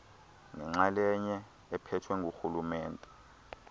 nenxalenye ephethwe ngurhulumente